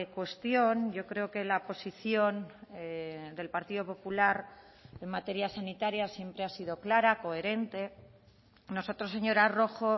cuestión yo creo que la posición del partido popular en materia sanitaria siempre ha sido clara coherente nosotros señora rojo